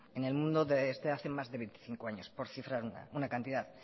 en el mundo desde hace más de veinticinco años por cifrar una cantidad